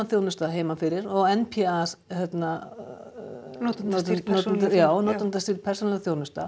þjónusta heiman fyrir n p a notendastýrð persónu já notendastýrð persónuleg þjónusta